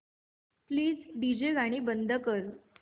please DJ गाणी बंद कर